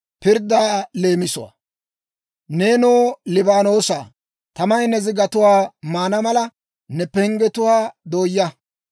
Neenoo, Libaanoosaa, tamay ne zigatuwaa maana mala, ne penggetuwaa dooyaa!